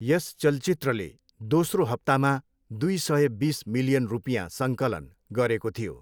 यस चलचित्रले दोस्रो हप्तामा दुई सय बिस मिलियन रुपियाँ सङ्कलन गरेको थियो।